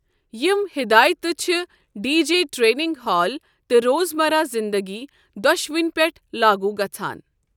یم ہدایاتہِ چھِ ڈی جے ٹریننگ ہال تہٕ روزمرہ زنٛدگی دۄشوٕنی پٮ۪ٹھ لاگوٗ گژھَان۔